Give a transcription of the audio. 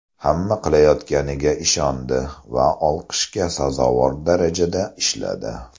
Hamma qilayotganiga ishondi va olqishga sazovor darajada ishladi.